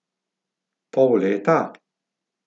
Pol leta?